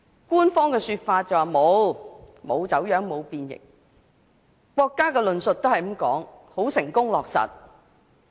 官方的說法是沒有走樣，沒有變形，國家的論述更是"成功落實"。